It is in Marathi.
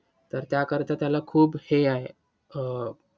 तर त्याकरीता त्याला खूप हे आहे. अं